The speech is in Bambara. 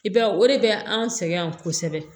I b'a ye o de bɛ an sɛgɛn yan kosɛbɛ